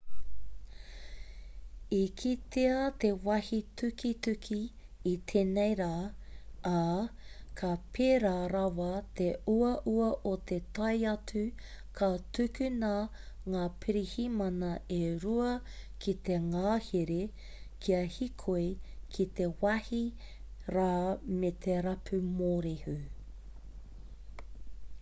i kitea te wāhi tukituki i tēnei rā ā ka pērā rawa te uaua o te tae atu ka tukuna ngā pirihimana e rua ki te ngahere kia hīkoi ki te wāhi rā me te rapu mōrehu